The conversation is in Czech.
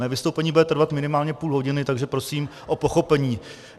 Mé vystoupení bude trvat minimálně půl hodiny, takže prosím o pochopení.